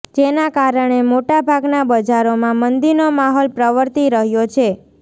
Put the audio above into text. જેના કારણે મોટા ભાગના બજારોમાં મંદીનો માહોલ પ્રવર્તી રહ્યો છે